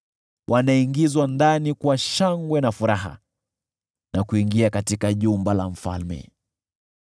Wanaingizwa ndani kwa shangwe na furaha, na kuingia katika jumba la mfalme.